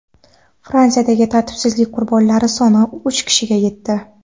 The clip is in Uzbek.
Fransiyada tartibsizlik qurbonlari soni uch kishiga yetdi.